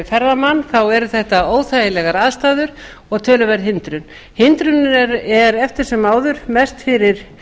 ferðamann eru þetta óþægilegar aðstæður og töluverð hindrun hindrunin er eftir sem áður mest fyrir